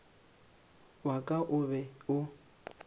wa ka o be o